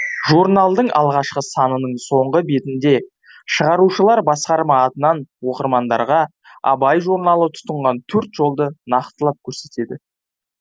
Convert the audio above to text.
журналдың алғашқы санының соңғы бетінде шығарушылар басқарма атынан оқырмандарға абай журналы тұтынған төрт жолды нақтылап көрсетеді